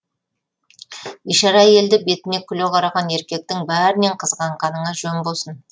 бишара әйелді бетіне күле қараған еркектің бәрінен қызғанғаныңа жөн болсын